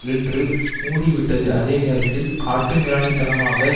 என்று மூடிவிட்டது அதே நேரத்தில் காட்டுமிராண்டித்தனமாக